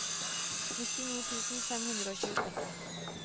nittini tusen fem hundre og tjueseks